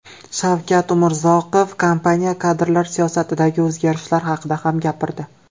Shavkat Umurzoqov kompaniya kadrlar siyosatidagi o‘zgarishlar haqida ham gapirdi.